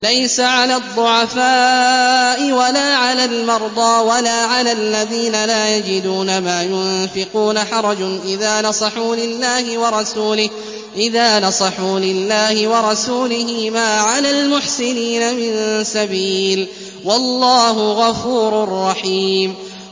لَّيْسَ عَلَى الضُّعَفَاءِ وَلَا عَلَى الْمَرْضَىٰ وَلَا عَلَى الَّذِينَ لَا يَجِدُونَ مَا يُنفِقُونَ حَرَجٌ إِذَا نَصَحُوا لِلَّهِ وَرَسُولِهِ ۚ مَا عَلَى الْمُحْسِنِينَ مِن سَبِيلٍ ۚ وَاللَّهُ غَفُورٌ رَّحِيمٌ